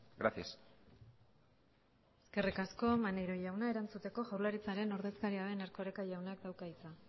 gracias eskerrik asko maneiro jauna erantzuteko jaurlaritzaren ordezkaria den erkoreka jaunak dauka hitza